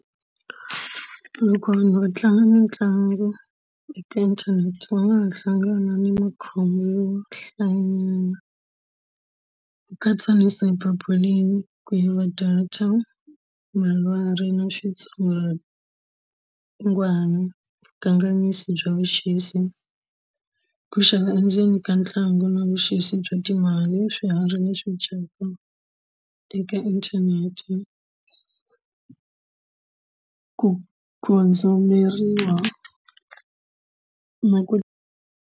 Loko vanhu va tlanga mitlangu eka inthanete va nga ha hlangana na makhombo yo hlayanyana ku katsa na ku yiva data na ku nga ha va vukanganyisi bya vuxisi ku xava endzeni ka ntlangu na vuxisi bya timali swiharhi leswi dyaka eka inthanete ku na ku.